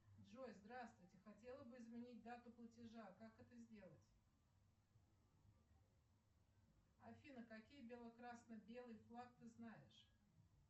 джой здравствуйте хотела бы изменить дату платежа как это сделать афина какие бело красно белый флаг ты знаешь